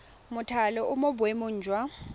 mothale o mo boemong jwa